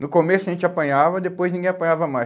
No começo a gente apanhava, depois ninguém apanhava mais.